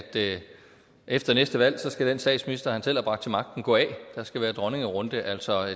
efter næste valg skal den statsminister han selv har bragt til magten gå af og der skal være dronningerunde altså